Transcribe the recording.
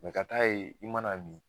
Mɛ ka t'a ye i mana nin